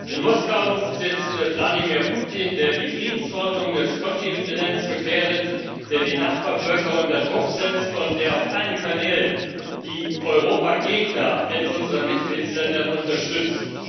In Moskau sitzt Wladimir Putin, der die Friedensordnung des Kontinents gefährdet, der die Nachbarvölker unter Druck setzt und der auf allen Kanälen die Europagegner in unseren Mitgliedsländern unterstützt.